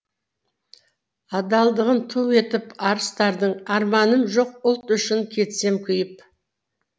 адалдығын ту етіп арыстардың арманым жоқ ұлт үшін кетсем күйіп